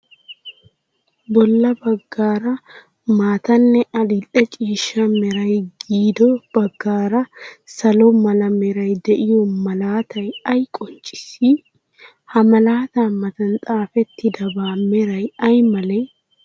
Bolla baggaara maatanne adil''e ciishsha meray, giddo baggaara salo mala meray de'iyoo malaatay ay qonccissii? H a malaataa matan xaafettidabaa meray ay malee?